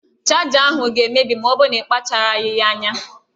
Chaja ahụ ga-emebi ma ọ bụrụ na-ịkpacharaghị anya.